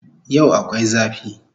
Yau akwai zafi